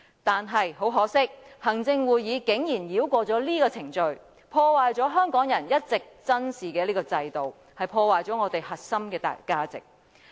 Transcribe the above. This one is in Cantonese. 但是，很可惜，行會竟然繞過這個程序，破壞了香港人一直珍視的制度和我們的核心價值。